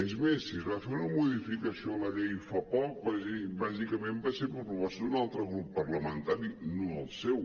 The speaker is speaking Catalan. és més si es va fer una modificació a la llei fa poc bàsicament va ser per proposta d’un altre grup parlamentari no el seu